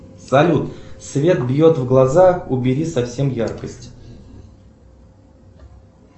салют свет бьет в глаза убери совсем яркость